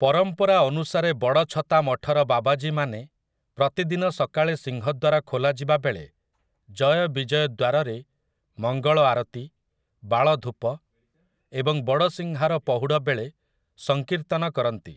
ପରମ୍ପରା ଅନୁସାରେ ବଡ଼଼ଛତା ମଠର ବାବାଜୀମାନେ ପ୍ରତିଦିନ ସକାଳେ ସିଂହଦ୍ୱାର ଖୋଲାଯିବା ବେଳେ ଜୟ ବିଜୟ ଦ୍ୱାରରେ, ମଙ୍ଗଳ ଆରତୀ, ବାଳଧୂପ ଏବଂ ବଡ଼ସିଂହାର ପହୁଡ଼ ବେଳେ ସଂକୀର୍ତ୍ତନ କରନ୍ତି ।